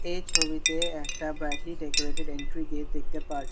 এই ছবিতে একটা ব্রাইটলি ডেকোরেটেড এন্ট্রি গেট দেখতে পারছি।